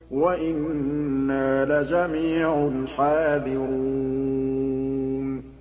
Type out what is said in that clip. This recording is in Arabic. وَإِنَّا لَجَمِيعٌ حَاذِرُونَ